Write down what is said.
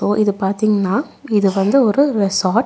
ஒ இது பாத்தீங்னா இது வந்து ஒரு ரெசாட் .